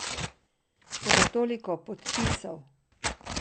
Toda toliko podpisov!